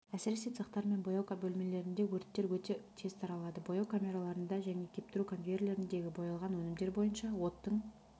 әсіресе цехтар мен бояу бөлімдерінде өрттер өте тез таралады бояу камераларында және кептіру конвейерлеріндегі боялған өнімдер бойынша оттың